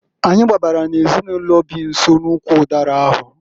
Anyị gbabara n'ezinụlọ bi nso n'ụkwụ ụdara ahụ.